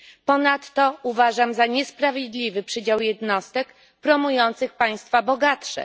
Ponadto, uważam za niesprawiedliwy przydział jednostek promujący państwa bogatsze.